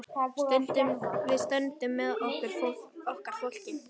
Við stöndum með okkar fólki.